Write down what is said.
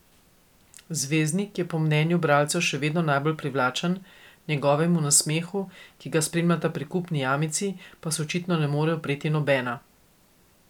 Zvezdnik je po mnenju bralcev še vedno najbolj privlačen, njegovemu nasmehu, ki ga spremljata prikupni jamici, pa se očitno ne more upreti nobena.